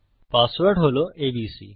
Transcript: password হল ABC